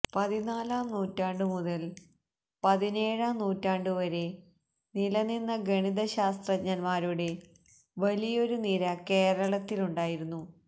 പതിനാലാം നൂറ്റാണ്ടു മുതൽ പതിനേഴാം നൂറ്റാണ്ടുവരെ നിലനിന്ന ഗണിത ശാസ്ത്രജ്ഞന്മാരുടെ വലിയൊരു നിര കേരളത്തിലുണ്ടായിരുന്നു